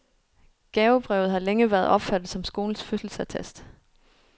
Gavebrevet har længe været opfattet som skolens fødselsattest.